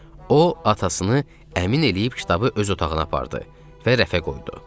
deyə o atasını əmin eləyib kitabı öz otağına apardı və rəfə qoydu.